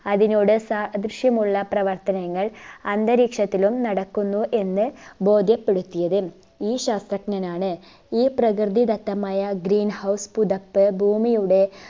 അതിനോട് സാദൃശ്യമുള്ള പ്രവർത്തനങ്ങൾ അന്തരീക്ഷത്തിലും നടക്കുന്നു എന്ന് ബോധ്യപ്പെടുത്തിയത് ഈ ശാസ്ത്രജ്ഞനാണ് ഈ പ്രകൃതിദത്തമായ green house പുതപ്പ് ഭൂമിയുടെ